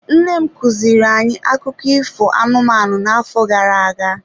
Nne m kuziri anyị akụkọ ifo anụmanụ n'afọ gara aga.